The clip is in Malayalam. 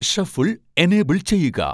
ഷഫിൾ ഏനേബ്ൾ ചെയ്യുക